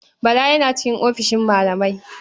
Bala yana cikin ofishin malamai.